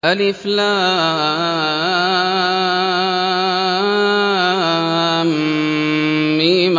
الم